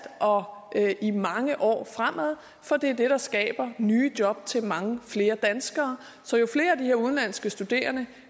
og i mange år fremad for det er det der skaber nye job til mange flere danskere så jo flere af de her udenlandske studerende